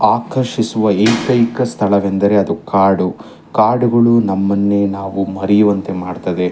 ಆಕರ್ಷಿಸುವ ಏಕೈಕ ಸ್ಥಳವೆಂದರೆ ಅದು ಕಾಡು ಕಾಡುಗಳು ನಮ್ಮನ್ನೆ ನಾವು ಮರೆಯುವಂತೆ ಮಾಡುತ್ತದೆ.